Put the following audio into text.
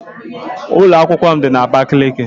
Ụlọ akwụkwọ m dị na Abakiliki